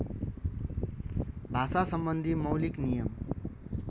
भाषासम्बन्धी मौलिक नियम